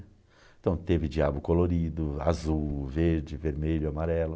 Então teve diabo colorido, azul, verde, vermelho, amarelo.